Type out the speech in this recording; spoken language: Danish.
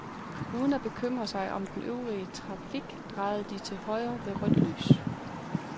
Uden at bekymre sig om den øvrige trafik drejer de til højre ved rødt lys.